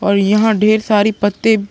और यहाँ ढेर सारे पत्ते --